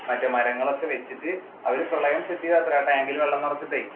മറ്റേ മരങ്ങളൊക്കെ വെച്ചിട്ട് അവർ പ്രളയം സൃഷ്ടിച്ചതാത്രേ tank ഇല്‍ വെള്ളം നിറച്ചിട്ടേ.